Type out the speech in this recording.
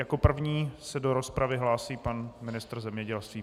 Jako první se do rozpravy hlásí pan ministr zemědělství.